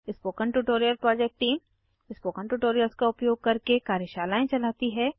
spoken tutorial project team spoken tutorials का उपयोग करके कार्यशालाएं चलाती है